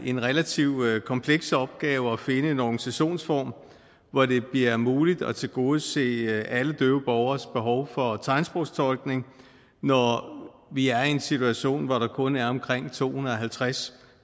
en relativt kompleks opgave at finde en organisationsform hvor det bliver muligt at tilgodese alle døve borgeres behov for tegnsprogstolkning når vi er i en situation hvor der kun er omkring to hundrede og halvtreds